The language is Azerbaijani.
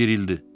Bir ildir.